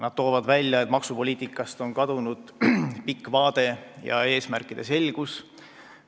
Nad toovad välja, et maksupoliitikast on kadunud pikk vaade ja eesmärkide selgus.